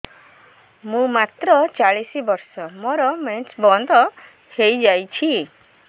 ମୁଁ ମାତ୍ର ଚାଳିଶ ବର୍ଷ ମୋର ମେନ୍ସ ବନ୍ଦ ହେଇଯାଇଛି